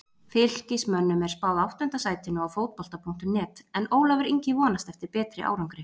Fylkismönnum er spáð áttunda sætinu á Fótbolta.net en Ólafur Ingi vonast eftir betri árangri.